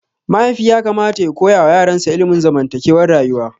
Mahaifi yakamata ya koyawa yaransa ilimin zamantakewar rayuwa.